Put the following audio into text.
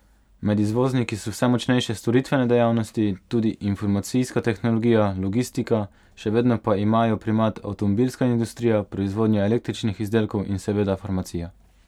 Med izvozniki so vse močnejše storitvene dejavnosti, tudi informacijska tehnologija, logistika, še vedno pa imajo primat avtomobilska industrija, proizvodnja električnih izdelkov in seveda farmacija.